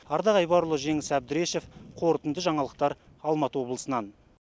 ардақ айбарұлы жеңіс әбдірешев қорытынды жаңалықтар алматы облысынан